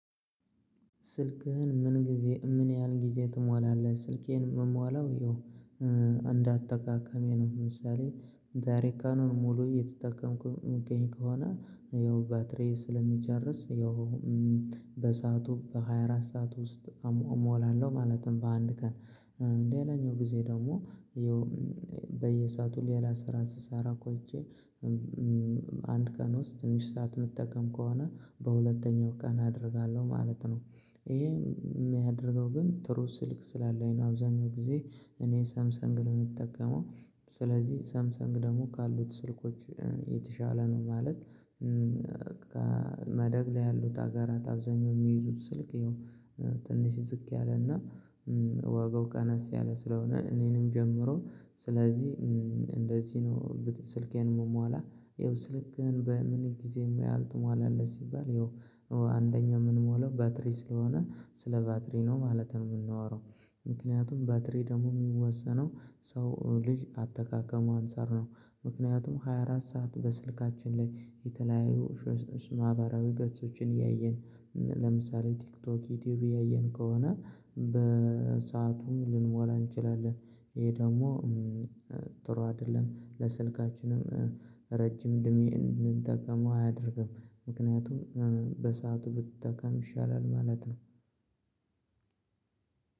ስልክህን ምን ጊዜ ምን ያህል ጊዜ ትሞላለህ? ስልኬን ምሞላው ያው እንዳጠቃቀሜ ነው። ለምሳሌ ዛሬ ቀኑን ሙሉ የተጠቀምኩኝ የምገኝ ከሆነ ያው ባትሪዬ ስለሚጨርስ ያው በሰአቱ በሃያ አራት ሰዓት ውስጥ አሞላለሁ ማለትም በአንድ ቀን። ሌላኛው ጊዜ ደግሞ በየሰአቱ ሌላ ስራ ስሰራ ቆይቼ አንድ ቀን ውስጥ ትንሽ ሰዓት እምጠቀም ከሆነ በሁለተኛው ቀን አደርጋለሁ ማለት ነው። ይሄ የሚያደርገው ግን ጥሩ ስልክ ስላለኝ ነው። አብዛኛው ጊዜ እኔ ሰምሰንግ ነው የምጠቀመው። ስለዚህ ሰምሰንግ ደግሞ ካሉት ስልኮች የተሻለ ነው። ማለት ከማደግ ላይ ያሉት ሀገራት አብዛኛው የሚይዙት ስልክ ትንሽ ዝቅ ያለና ዋጋው ቀነስ ያለ ስለሆነ እኔንም ጨምሮ ስለዚህ እንደዚህ ነው እንግዲህ ስልኬን ምሞላ ይኸው ስልክህን በምን ጊዜ ምን ያህል ትሞላለህ? ሲባል ያው አንደኛው ምንሞላው ባትሪ ስለሆነ ስለ ባትሪ ነው ማለት ነው የምናወራው። ምክንያቱም ባትሪ ደግሞ የሚወሰነው ሰው ልጅ አጠቃቀሙ አንፃር ነው። ምክንያቱም ሃያ አራት ሰዓት በስልካችን ላይ የተለያዩ ማህበራዊ ገጾችን እያየን ለምሳሌ ቲክቶክ ዩቲዩብ እያየን ከሆነ በሰአቱም ልንሞላ እንችላለን። ይሄ ደግሞ ጥሩ አይደለም። ለስልካችንም ረጅም እድሜ እንድንጠቀመው አያደርግም። ምክንያቱም በሰአቱ ብትጠቀም ይሻላል ማለት ነው።